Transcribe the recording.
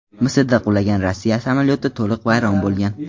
Misrda qulagan Rossiya samolyoti to‘liq vayron bo‘lgan.